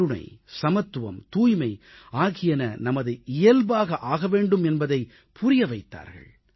கருணை சமத்துவம் தூய்மை ஆகியன நமது இயல்பாக ஆக வேண்டும் என்பதைப் புரிய வைத்தார்கள்